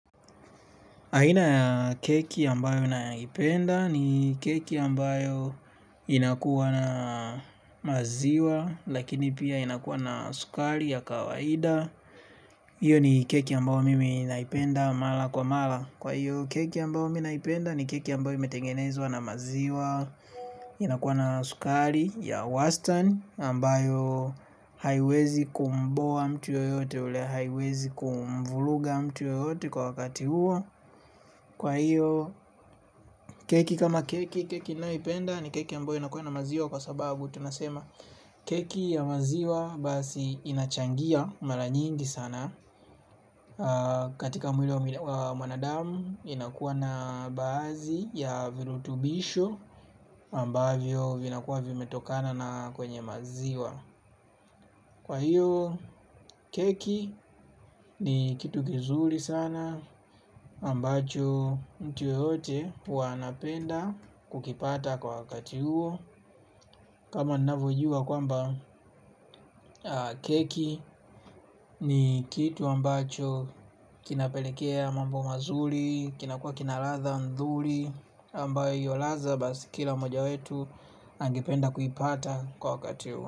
Haina ya keki ambayo ninaipenda ni keki ambayo inakuwa na maziwa lakini pia inakuwa na sukari ya kawaida. Iyo ni keki ambayo mimi naipenda mala kwa mala. Kwa iyo keki ambayo mimi naipenda ni keki ambayo imetengenezwa na maziwa inakuwa na sukari ya wastan ambayo haiwezi kumboa mtu yoyote ule haiwezi kumvuluga mtu yoyote kwa wakati huo. Kwa hiyo keki kama keki, keki naipenda ni keki yambayo inakuwa na maziwa kwa sababu tunasema keki ya maziwa basi inachangia mara nyingi sana. Katika mwili wa mwanadamu inakuwa na baadhi ya virutubisho ambavyo vinakuwa vimetokana na kwenye maziwa. Kwa hiyo keki ni kitu gizuri sana ambacho mtu yeyote huwa anapenda kukipata kwa wakati huo. Kama ninafojua kwamba keki ni kitu ambacho kinapelekea mambo mazuri. Kinakua kinaladha ndhuri ambayo yolaza basi kila moja wetu angependa kuipata kwa wakati huo.